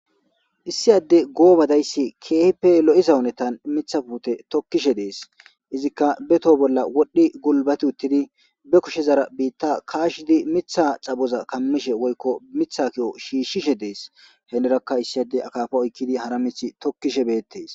issi adde goobadayssi keehippe lo7izawunetan mitha puute tokkishe dees izikka be too bolla wodhdhi gulbati uttidi be kushezara biitta kaashidi mitha xaboza kammishe woykko mitha ki7o shiishshishe dees heenerakka issiyade akaafa oykkidi hara mith tokkishe beettes